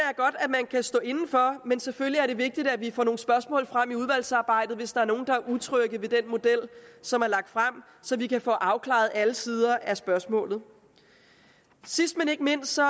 man kan stå inde for men selvfølgelig er det vigtigt at vi får nogle spørgsmål frem i udvalgsarbejdet hvis der er nogen der er utrygge ved den model som er lagt frem så vi kan få afklaret alle sider af spørgsmålet sidst men ikke mindst så